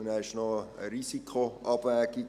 Und dann ist es noch eine Risikoabwägung: